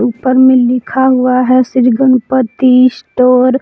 ऊपर में लिखा हुआ है श्री गणपती स्टोर ।